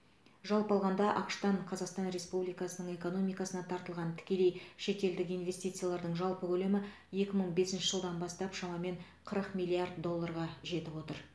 жалпы алғанда ақш тан қазақстан республикасының экономикасына тартылған тікелей шетелдік инвестициялардың жалпы көлемі екі мың бесінші жылдан бастап шамамен қырық миллиард долларға жетіп отыр